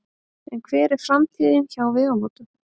En hver er framtíðin hjá Vegamótum?